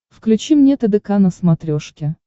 включи мне тдк на смотрешке